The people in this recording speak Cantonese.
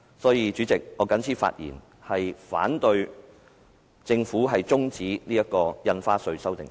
所以，主席，我謹此陳辭，反對政府中止審議《條例草案》。